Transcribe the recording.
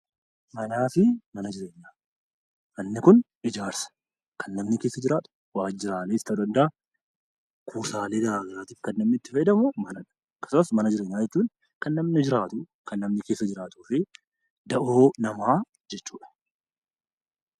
Manaa fi Mana Jireenyaa Manni kun ijaarsa. Kan namni keessa jiraatu, waajjiraalees ta'uu danda'a; kuusaalee garaagaraatiif kan namni itti fayyadamu mana dha. Akkasumas, mana jireenyaa jechuun kan namni jiraatu; kan namni keessa jiraatuu fi da'oo namaa jechuu dha.